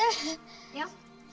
já